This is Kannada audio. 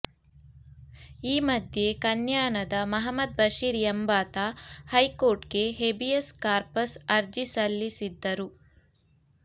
ಈ ಮಧ್ಯೆ ಕನ್ಯಾನದ ಮಹಮದ್ ಬಶೀರ್ ಎಂಬಾತ ಹೈಕೋರ್ಟ್ಗೆ ಹೇಬಿಯಸ್ ಕಾರ್ಪಸ್ ಅರ್ಜಿ ಸಲ್ಲಿಸಿದ್ದರು